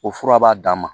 O fura b'a dan ma